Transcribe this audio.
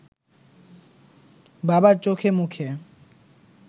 বাবার চোখেমুখে